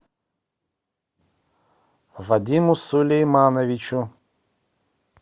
вадиму сулеймановичу